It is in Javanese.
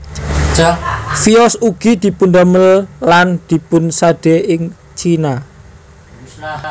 Vios ugi dipundamel lan dipunsadé ing Cina